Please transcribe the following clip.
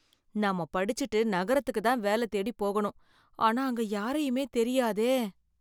நாம படிச்சிட்டு நகரத்துக்கு தான் வேல தேடி போகணும், ஆனா அங்க யாரையுமே தெரியாதே.